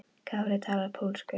Kári talar pólsku.